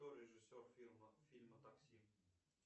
кто режиссер фильма такси